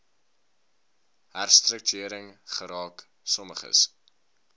herstruktuering geraak sommiges